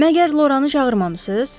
Məgər Loranı çağırmamısınız?